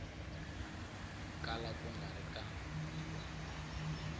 kala ku nga ri ka